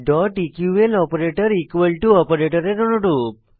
eql operator equal to অপারেটরের অনুরূপ